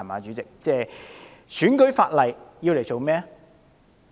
主席，選舉法例要來做甚麼？